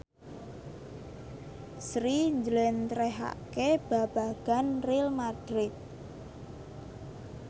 Sri njlentrehake babagan Real madrid